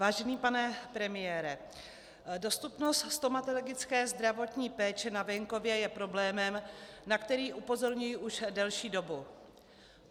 Vážený pane premiére, dostupnost stomatologické zdravotní péče na venkově je problémem, na který upozorňuji už delší dobu.